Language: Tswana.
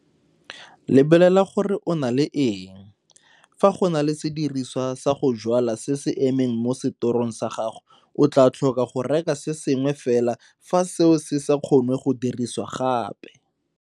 Lebelela gore o na le eng. Fa go na le sediriswa sa go jwala se se emeng mo setorong sa gago o tlaa tlhoka go reka se sengwe fela fa seo se sa kgonwe go dirisiwa gape.